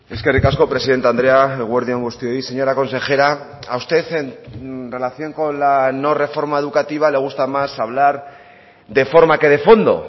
eskerrik asko presidente andrea eguerdi on guztioi señora consejera a usted en relación con la no reforma educativa le gusta más hablar de forma que de fondo